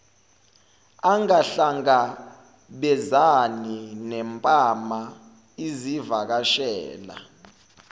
angahlangabezani nempama izivakashela